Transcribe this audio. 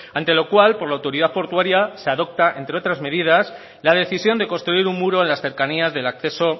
ante lo cual por la autoridad portuaria se adopta entre otras medidas la decisión de construir un muro en las cercanías del acceso